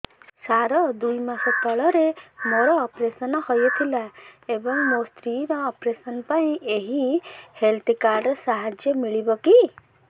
ସାର ଦୁଇ ମାସ ତଳରେ ମୋର ଅପେରସନ ହୈ ଥିଲା ଏବେ ମୋ ସ୍ତ୍ରୀ ର ଅପେରସନ ପାଇଁ ଏହି ହେଲ୍ଥ କାର୍ଡ ର ସାହାଯ୍ୟ ମିଳିବ କି